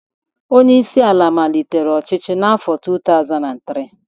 Onye isi ala Naijiria malitere ọchịchị n'afọ 2023.